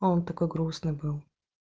он такой грустный был